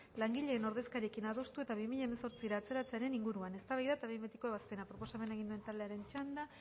langileen ordezkariekin adostu eta bi mila hemezortzira atzeratzearen inguruan eztabaida eta behin betiko ebazpena proposamena egin duen taldearen txanda